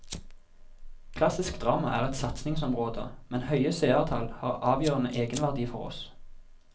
Klassisk drama er et satsingsområde, men høye seertall har avgjørende egenverdi for oss.